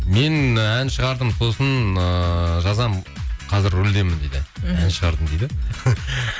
мен і ән шығардым сосын ыыы жазамын қазір рөлдемін дейді ән шығардым дейді